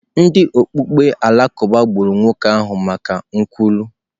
Ndị okpukpe Alakụba gburu nwoke ahụ maka nkwulu.